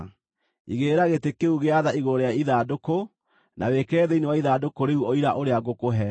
Igĩrĩra gĩtĩ kĩu gĩa tha igũrũ rĩa ithandũkũ, na wĩkĩre thĩinĩ wa ithandũkũ rĩu Ũira ũrĩa ngũkũhe.